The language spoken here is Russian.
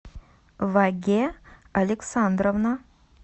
ваге александровна